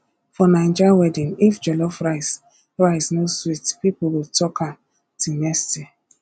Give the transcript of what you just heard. for naija wedding if jollof rice rice no sweet people go talk am till next year